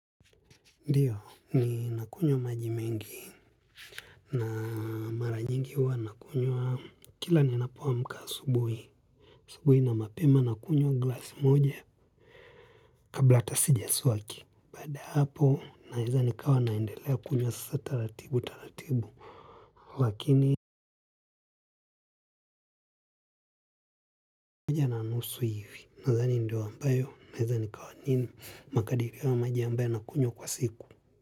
Ndiyo ni nakunywa maji mengi na mara nyingi huwa nakunywa kila ninapo amka asubuhi. Asubuhi na mapema nakunywa glasi moja kabla hata sijaswaki. Baada ya hapo naweza nikawa naendelea kunywa sasa taratibu taratibu. Lakini moja na nusu hivi. Nadhani ndio ambayo naweza nikawa nini. Makadipi wa maji ambayo nakunywa kwa siku.